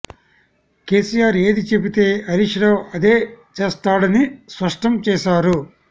కేసీఆర్ ఏది చెబితే హరీష్ రావు అదే చేస్తాడని స్పష్టం చేశారు